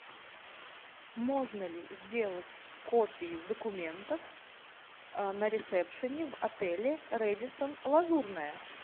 можно ли сделать копию документов на ресепшене в отеле редисон лазурное